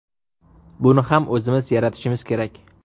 Buni ham o‘zimiz yaratishimiz kerak.